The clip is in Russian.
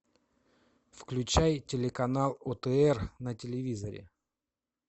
включай телеканал отр на телевизоре